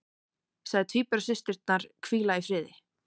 Sagði tvíburasysturnar hvíla í friði